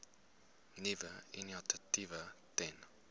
nuwe initiatiewe ten